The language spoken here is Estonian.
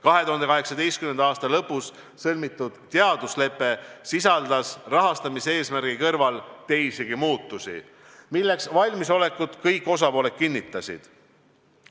2018. aasta lõpus sõlmitud teaduslepe sisaldas rahastamiseesmärgi kõrval teisigi muudatusi, milleks valmisolekut kõik osapooled kinnitasid.